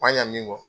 Ma ɲa min kɔ